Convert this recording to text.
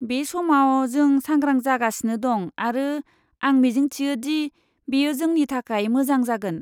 बे समाव, जों सांग्रां जागासिनो दं आरो आं मिजिंथियो दि बेयो जोंनि थाखाय मोजां जागोन।